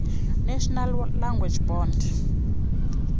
nenational language board